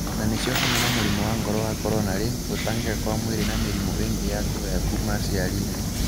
Na nĩcio hamwe na mũrimũ wa ngoro wa coronary, gũtangĩka kwa mwĩĩrĩ na mirimũ ingĩ ya kũgaya kuma aciariinĩ.